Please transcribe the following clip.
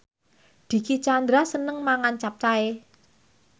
Dicky Chandra seneng mangan capcay